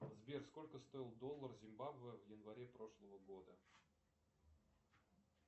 сбер сколько стоил доллар зимбабве в январе прошлого года